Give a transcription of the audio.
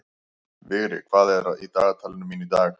Vigri, hvað er í dagatalinu mínu í dag?